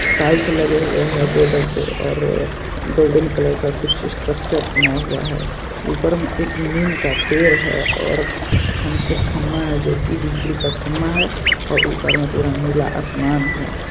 Tiles लगे हुए हैं बॉर्डर पे और गोल्डन कलर का कुछ स्ट्रक्चर बना हुआ है। ऊपर मे एक नीम का पेड़ है और कुछ खम एक खंभा है जो की बिजली का खंभा है और ऊपर मे पूरा नीला आसमान है।